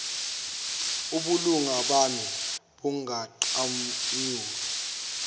ubulunga bami bunganqanyulwa